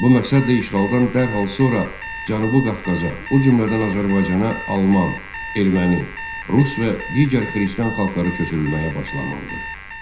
Bu məqsədlə işğaldan dərhal sonra Cənubi Qafqaza, o cümlədən Azərbaycana alman, erməni, rus və digər xristian xalqları köçürülməyə başlanıldı.